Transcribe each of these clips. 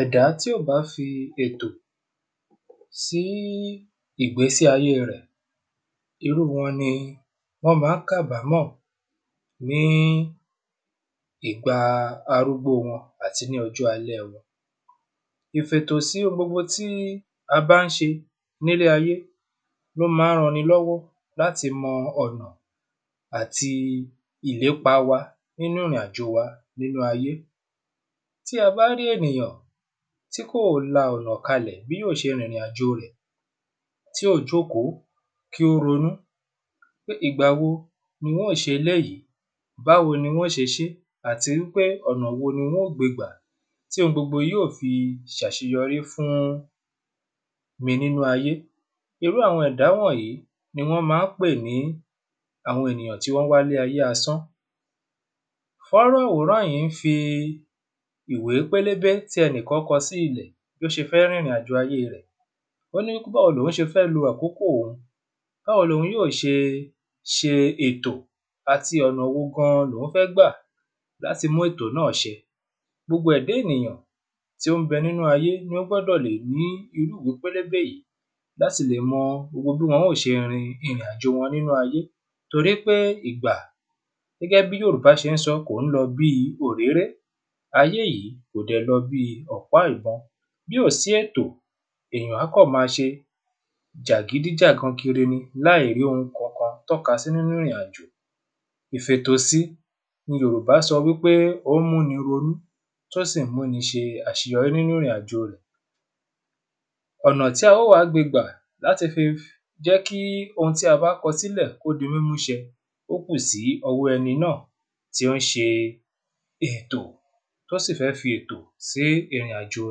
ẹ̀dá tí ò bá fi ètò sí ìgbésí ayé rẹ̀ irú wọn ni wọ́n má ń kabámọ̀ ní ìgba arúgbó wọ́ àti ní ọjọ́ alẹ́ wọn ìfètò sí ohun gbogbo tí a bá ń ṣe ní ílé ayé ló má ń ran ni lọ́wọ́ láti mọ ọ̀nà àti ìlépá wa nínú ìrìn àjò wa nílé ayé tí a bá rí ènìyàn tí kò la ọnà kalẹ bí yóò ṣe rìrìn àjò rẹ̀ tí ò jókòó kí ó ronú pé ìgbà wo n ó ṣe eléyí báwo ni n o ṣe ṣé àti wí pé ọ̀nà wo ni n ó gbe gbà tí ohun gbogbo yí ò fi ṣàṣeyọrí fún mi nínú ayé irú àwọn ẹ̀dá wọ̀nyí ni wọ́n ma ń pè ní àwọn ènìyàn tí wọ́n wá ayé asán fónrán àwòrán yí ń fi ìwé pélébé tí ẹnìkan kọ sí ilẹ̀ bó ṣe fẹ́ rìrìn àjò ayé rẹ̀ ó ni báwo lòun ṣe fẹ lo àkókò òun báwo lòun yóò ṣe ṣe ètò àti ọ̀nà wo gan loun fẹ́ gbà láti mú etò náà ṣẹ gbogbo ẹ̀dá ènìyàn tí ó ń bẹ nínú ayé ló gbọ́dọ̀ lè ní irú ìwé pélébé yìí láti lè mo gbogbo bí wọn ó ṣe rin ìrìn àjò wọn nínú àyé torí pé ìgbà gẹ́gẹ́ bí yòrùbà ṣé ń sọ kò ń lọ bíi òréré ayé yìí kò dẹ̀ lọ bíi ọ̀pá ìbọn bí ò sí ètò èyàn á kọ̀ ma ṣe jàgídíjàgan kiri ni láìrí ohun kankan tọ́ka sí nínú ìrìn àjò ìfètò si ní yòrùbá fi sọ wí pé ó ń mú ni ronú tó sì ń mú ni ṣe àṣeyọri nínú ìrìn àjò rẹ̀ ọ̀nà tí a ó wa gbe gbà láti fi jẹ́ kí ohun tí a bá kọ sí lẹ̀ kó di múmú ṣẹ ó kù sí ọwọ ẹni náà tí ó ń ṣe ètò tó sì fẹ́ fi ètò sí ìrìn àjò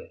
rẹ̀